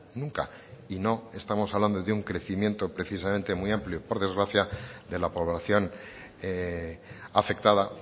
nunca y no estamos hablando de un crecimiento precisamente muy amplio por desgracia de la población afectada